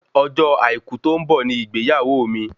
Ọjọ́ àìkú tó ń bọ̀ ni ìgbéyàwó mi